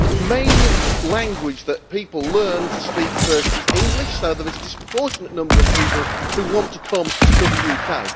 the main language that people learn to speak first is English, so that there is a disproportionate number of people who want to come to the UK.